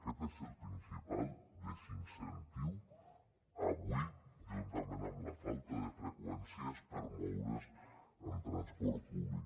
aquest és el principal desincentiu avui juntament amb la falta de freqüències per moure’s amb transport públic